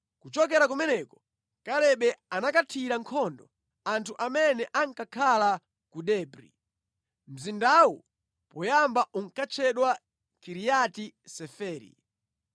Kuchokera kumeneko, Kalebe anakathira nkhondo anthu amene ankakhala ku Debri (mzindawu poyamba unkatchedwa Kiriati Seferi).